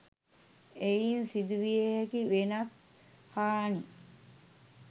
එයින් සිදුවිය හැකි වෙනත් හානි